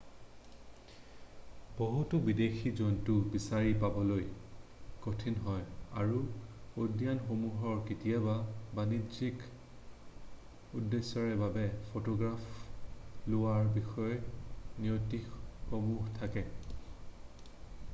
বহুতো বিদেশী জন্তু বিচাৰি পাবলৈ কঠিন হয় আৰু উদ্যানসমূহৰ কেতিয়াবা বাণিজ্যিক উদ্দেশ্যৰ বাবে ফটোগ্ৰাফ লোৱাৰ বিষয়ে নীতিসমূহ থাকে৷